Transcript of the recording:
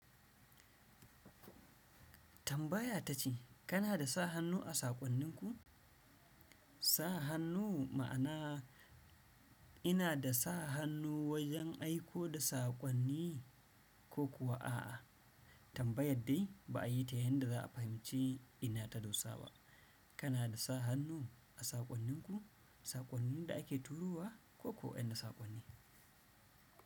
Tambaya ta ce kana da sa hannu a saƙonninku? Sa hannu ma'ana ina da sa hannu wajen aiko da saƙonni ko kuwa a'a, tambayar dai ba a yi ta yanda za a fahimci ina ta dosa ba. Kana da sa hannu a saƙonninku, saƙonnin da ake turowa ko ko wa'yansu saƙonni?